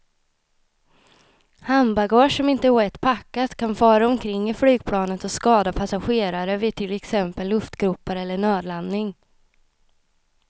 Handbagage som inte är rätt packat kan fara omkring i flygplanet och skada passagerare vid till exempel luftgropar eller nödlandning.